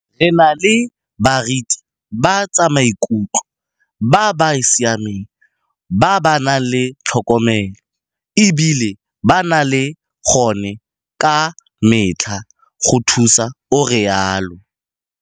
Re na le baritibatsamaikutlo ba ba siameng ba ba nang le tlhokomelo e bile ba nna ba le gone ka metlha go thusa, o rialo.